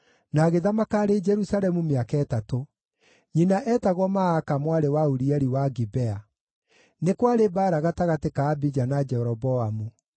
na agĩthamaka arĩ Jerusalemu mĩaka ĩtatũ. Nyina eetagwo Maaka mwarĩ wa Urieli wa Gibea. Nĩ kwarĩ mbaara gatagatĩ ka Abija na Jeroboamu.